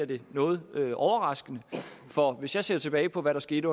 det noget overraskende for hvis jeg ser tilbage på hvad der skete